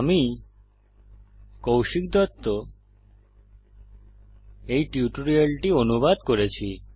আমি কৌশিক দত্ত টিউটোরিয়ালটি অনুবাদ করেছি